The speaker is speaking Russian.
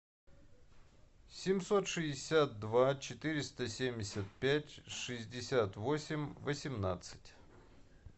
семьсот шестьдесят два четыреста семьдесят пять шестьдесят восемь восемнадцать